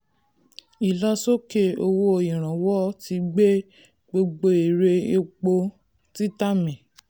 ìlọ sókè owó ìrànwọ́ ti gbé gbogbo èrè epo èrè epo títà mì.